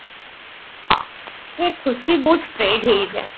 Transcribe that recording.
ହଁ ଏଇ ଖୁସି ବହୁତ spread ହେଇଯାଏ